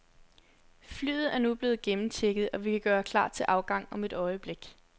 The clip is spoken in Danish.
Flyet er nu blevet gennemchecket, og vi kan gøre klar til afgang om et øjeblik.